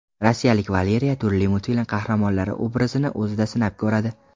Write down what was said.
Rossiyalik Valeriya turli multfilm qahramonlari obrazini o‘zida sinab ko‘radi.